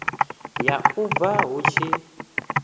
ya u bua hu tshi